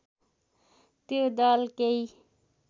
त्यो दल केही